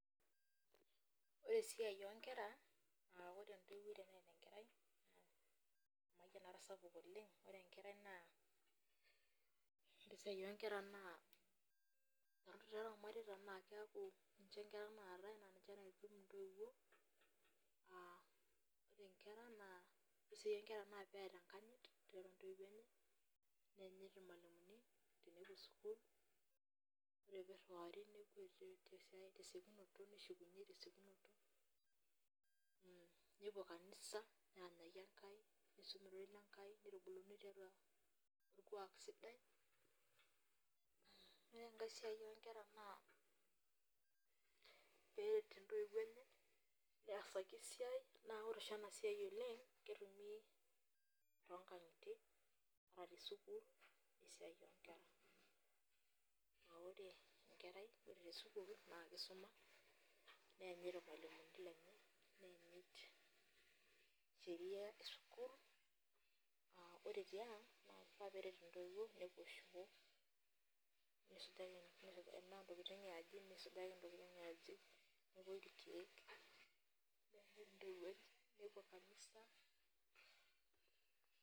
Ore esiai oonkera aa ore entoiwuo teneeta enkarai ore esiai oonkera naa ore tiatua irmareita naa keeku ninche loitutum intoiwuo aaa ore inkera naa ore sii ninche inkera naa peeta enkanyit tiatua intoiwuo enye neenyit irmalimuni tenebo ore peiriwari nepuo tesiokinoto neshukunyiei tesiokinoto nepuo kanisa neranyaki enkai neisum orerei lenkai neitubuluni tiatua orkuak sidai ore enkai siai oonkera naa peeret intoiwuo enye neesaki esiai naa ore siininye ena siai oleng ketumi toonkang'itie ata te school esiai oonkera naa ore enkerai ore te school naa keisumi neenyit irmalimuni lenye neenyit sheria es school aa ore tiang naa keifaa peeret intoiwuo nepuo shoo neisujaki intokitin yaaji mepuoi irkiek nepuo kanisa.